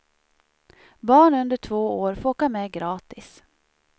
Barn under två år får åka med gratis.